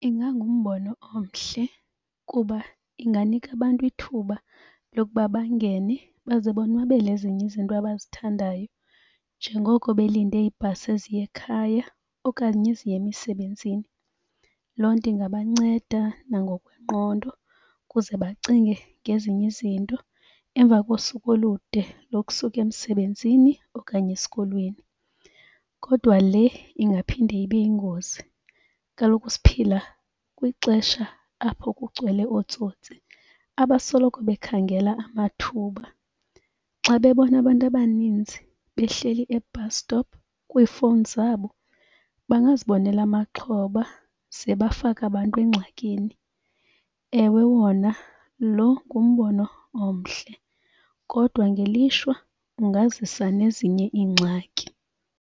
Ingangumbono omhle kuba inganika abantu ithuba lokuba bangene baze bonwabele ezinye izinto abazithandayo njengoko belinde iibhasi eziya ekhaya okanye eziya emisebenzini. Loo nto ingabanceda nangokwengqondo ukuze bacinge ngezinye izinto emva kosuku olude lokusuka emsebenzini okanye esikolweni. Kodwa le ingaphinde ibe yingozi. Kaloku siphila kwixesha apho kugcwele ootsotsi abasoloko bekhangela amathuba. Xa bebona abantu abaninzi behleli e-bus stop kwiifowuni zabo bangazibonela amaxhoba ze bafake abantu engxakini. Ewe, wona lo ngumbono omhle kodwa ngelishwa ungazisa nezinye iingxaki.